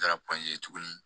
Taara tuguni